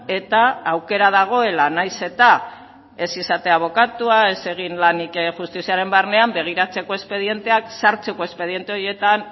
eta aukera dagoela nahiz eta ez izatea abokatua ez egin lanik justiziaren barnean begiratzeko espedienteak sartzeko espediente horietan